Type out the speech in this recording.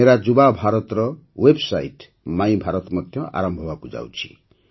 ମେରା ଯୁବା ଭାରତର ୱେବ୍ସାଇଟ୍ ମାଇଭାରତ ମଧ୍ୟ ଆରମ୍ଭ ହେବାକୁ ଯାଉଛି